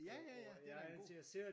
Ja ja ja det er da en god